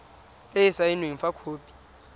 e e saenweng fa khopi